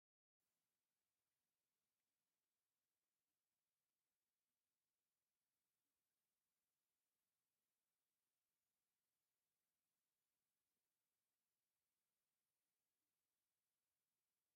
ካብ ወርቅን ቡሩርን ዝተሰርሑ ኩትቻታትን ጐባጉብን ካልኦትን ይርአዩ ኣለዉ፡፡ ነዞም ከምዚኣቶም ዝኣምሰሉ መጋየፅታ ዝሰርሑ ሰብ ሞያታት ሽሞም እንታይ እናተባህሉ ይፅውዑ?